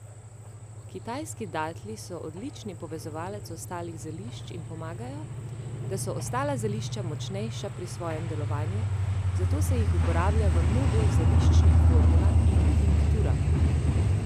Kitajski datlji so odlični povezovalec ostalih zelišč in pomagajo, da so ostala zelišča močnejša pri svojem delovanju, zato se jih uporablja v mnogo zeliščnih formulah in tinkturah.